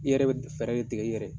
I yɛrɛ be fɛɛrɛ de tigɛ i yɛrɛ ye.